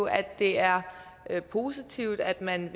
at det er positivt at man